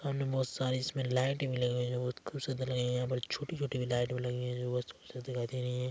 सामने बहुत सारी इसमें लाइटें भी लगी हुई है जो खूबसूरत लग रही है यहाँ पर छोटी छोटी लाइटें लगी हुई है जो बहुत खूबसूरत दिखाई दे रही हैं।